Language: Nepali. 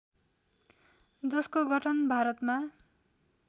जसको गठन भारतमा